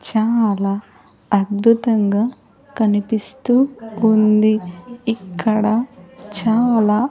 చాలా అద్భుతంగా కనిపిస్తూ ఉందీ ఇక్కడ చాలా --